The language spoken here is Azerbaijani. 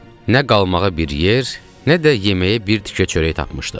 Nə qalmağa bir yer, nə də yeməyə bir tikə çörək tapmışdıq.